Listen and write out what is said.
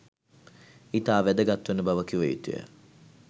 ඉතා වැගත්වන බව කිව යුතු ය.